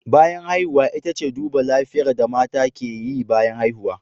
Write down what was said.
Bayan haihuwa ita ce duba lafiyar da mata ke yi bayan haihuwa